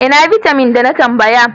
Ina bitamin da na tambaya?